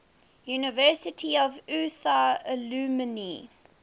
university of utah alumni